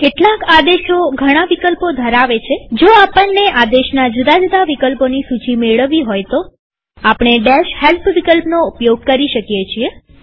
કેટલાક આદેશો ઘણા વિકલ્પો ધરાવે છેજો આપણને આદેશના જુદા જુદા વિકલ્પોની સૂચી મેળવવી હોય તો આપણે help વિકલ્પનો ઉપયોગ કરીએ છીએ